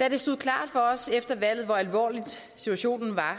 da det stod klart for os efter valget hvor alvorlig situationen var